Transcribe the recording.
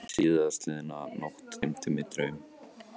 Síðastliðna nótt dreymdi mig draum.